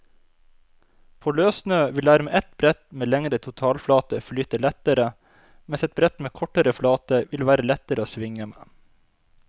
På løssnø vil dermed et brett med lengre totalflate flyte lettere, mens et brett med kortere flate vil være lettere å svinge med.